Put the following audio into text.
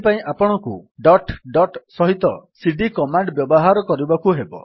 ଏଥିପାଇଁ ଆପଣଙ୍କୁ dot dot ସହିତ ସିଡି କମାଣ୍ଡ୍ ବ୍ୟବହାର କରିବାକୁ ହେବ